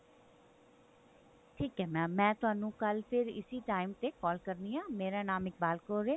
ਠੀਕ ਹੈ mam ਮੈਂ ਤੁਹਾਨੂੰ ਕੱਲ ਫ਼ੇਰ ਇਸੀ time ਤੇ call ਕਰਨੀ ਹੈ ਮੇਰਾ ਨਾਮ ਇਕਬਾਲ ਕੌਰ ਹੈ